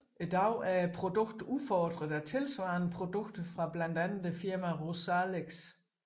I dag er produktet udfordret af tilsvarende produkter fra blandt andet firmaet Rozalex